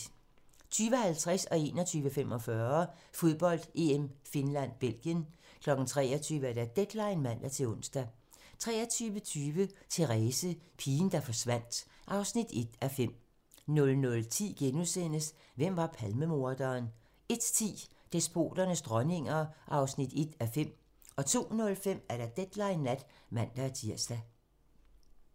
20:50: Fodbold: EM - Finland-Belgien 21:45: Fodbold: EM - Finland-Belgien 23:00: Deadline (man-ons) 23:20: Therese - pigen, der forsvandt (1:5) 00:10: Hvem var Palmemorderen? * 01:10: Despoternes dronninger (1:5) 02:05: Deadline Nat (man-tir)